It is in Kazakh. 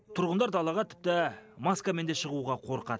тұрғындар далаға тіпті маскамен де шығуға қорқад